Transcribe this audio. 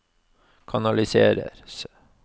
kanaliseres